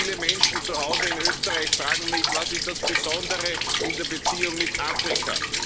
Viele Menschen zu Hause in Österreich fragen mich Was ist das Besondere in der Beziehung mit Afrika?